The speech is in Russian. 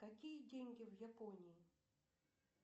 какие деньги в японии